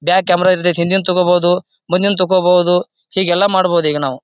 Back camera ಇದ್ರೆ ಹಿಂದಿಂದ ತೋಕೋಬಹುದು ಮುಂದಿಂದ್ ತೋಕೋಬಹುದು ಹೀಗೆಲ್ಲಾ ಮಾಡಬಹುದು ಈಗ ನಾವು.